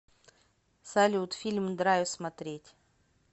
салют фильм драйв смотреть